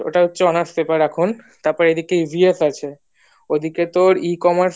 ওটা হচ্ছে এখন honours paper এখন তারপর এইদিকে EVNS আছে ওদিকে তোর ecommerce